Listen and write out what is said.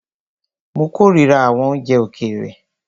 Mó kòrira àwọn oúnjẹ òkèèrè.